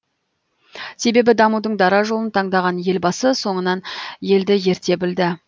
себебі дамудың дара жолын таңдаған елбасы соңынан елді ерте білді